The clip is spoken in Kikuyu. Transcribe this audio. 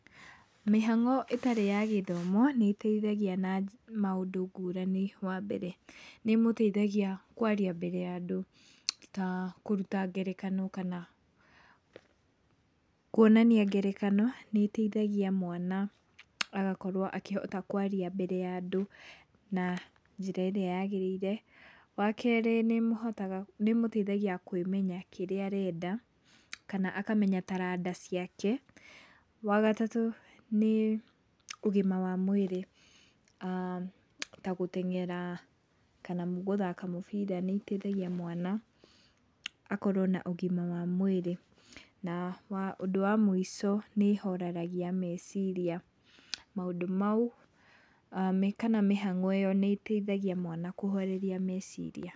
Mĩhang'o ĩtarĩ ya gĩthomo nĩ ĩteithagia na maũndũ ngũrani wa mbere nĩ mũteithagia kwaria mbere ya andũ, ta kũruta ngerekano kana, kwonania ngerekano nĩ ĩteithagia mwana agakorwo akĩhota kwaria mbere ya andũ na njĩra ĩrĩa yagĩrĩire. Wa kerĩ nĩ mũteithagia kwĩmenya kĩrĩa arenda kana akamenya taranda ciake. wagatatũ nĩ ũgima wa mwĩrĩ ta gũteng'era kana gũthaka mũbira nĩ ĩteithagia mwana akorwo na ũgima wa mwĩrĩ. Na ũndũ wa mũico nĩ horeragia meciria, maũndũ mau kana mĩhang'o ĩyo nĩ teithagia mwana kũhoreria meciria.